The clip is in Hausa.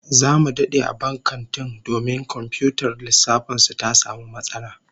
Zamu dade a bban kantin domin komfiyutar lissafin su ta samu matsala